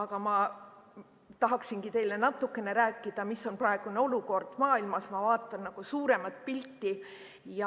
Aga ma tahaksingi teile rääkida, mis on praegune olukord maailmas – vaatame suuremat pilti –,